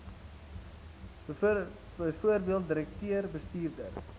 bv direkteur bestuurder